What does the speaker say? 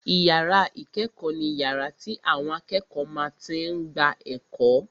Ìyàrá ìkẹ́kọ̀ọ́ ni yàrá tí àwọn akẹ́kọ̀ọ́ máa tí n gba ẹ̀kọ́